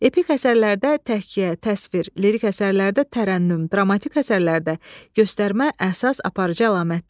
Epik əsərlərdə təhkiyə, təsvir, lirik əsərlərdə tərənnüm, dramatik əsərlərdə göstərmə əsas aparıcı əlamətlərdir.